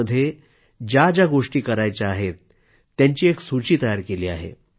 त्यामध्ये ज्या ज्या गोष्टी करायच्या आहेत त्यांची एक सूचीच तयार केली आहे